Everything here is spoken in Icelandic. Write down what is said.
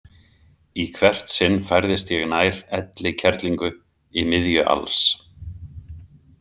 Í hvert sinn færðist ég nær Elli kerlingu í miðju alls.